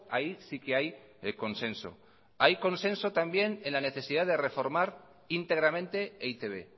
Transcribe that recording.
ahí sí que hay consenso hay consenso también en la necesidad de reformar íntegramente e i te be